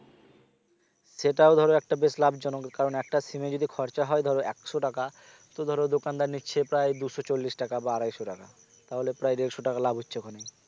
সেটাও ধরো একটা বেশ লাভ জনক কারণ একটা sim এ যদি খরচা হয় ধরো একশো টাকা তো ধরো দোকানদার নিচ্ছে প্রায় দুশো চল্লিশ টাকা বা আড়াইশো টাকা তাহলে প্রায় দেড়শো টাকা লাভ হচ্ছে ওখানেই